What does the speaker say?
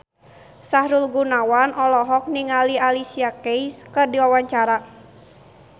Sahrul Gunawan olohok ningali Alicia Keys keur diwawancara